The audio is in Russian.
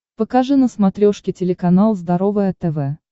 покажи на смотрешке телеканал здоровое тв